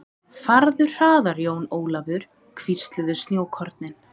Farðu hraðar Jón Ólafur, hvísluðu snjókornin.